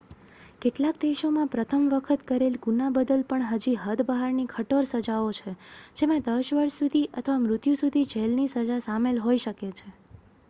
કેટલાક દેશો માં પ્રથમ વખત કરેલ ગુના બદલ પણ હદ બહારની કઠોર સજાઓ હોય છે જેમાં 10 વર્ષ સુધી અથવા મૃત્યુ સુધી જેલ ની સજા સામેલ હોય શકે છે